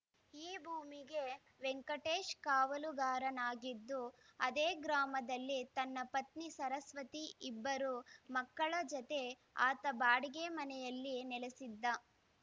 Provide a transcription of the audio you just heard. ಈ ಭೂಮಿಗೆ ವೆಂಕಟೇಶ್‌ ಕಾವಲುಗಾರನಾಗಿದ್ದು ಅದೇ ಗ್ರಾಮದಲ್ಲಿ ತನ್ನ ಪತ್ನಿ ಸರಸ್ವತಿ ಇಬ್ಬರು ಮಕ್ಕಳ ಜತೆ ಆತ ಬಾಡಿಗೆ ಮನೆಯಲ್ಲಿ ನೆಲೆಸಿದ್ದ